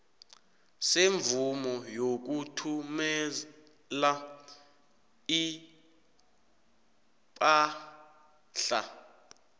semvumo yokuthumela ipahla